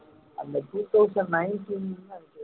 two thousand nineteen